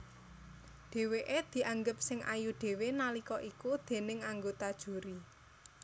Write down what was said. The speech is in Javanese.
Dhèwèké dianggep sing ayu dhéwé nalika iku déning anggota juri